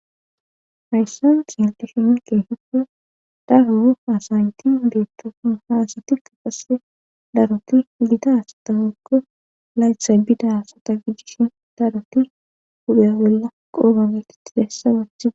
Fayssawus helqishi ni ke hiddu daguu asaynti beettofun haasati ka passe daroti lidasa tahokko laytha bida sata gijishin daroti huda bolla qoobageti tidassa wachiae..